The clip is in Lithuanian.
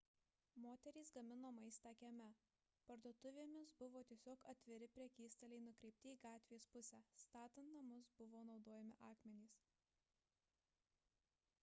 moterys gamino maistą kieme parduotuvėmis buvo tiesiog atviri prekystaliai nukreipti į gatvės pusę statant namus buvo naudojami akmenys